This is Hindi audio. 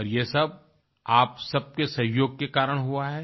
और ये सब आप सब के सहयोग के कारण हुआ है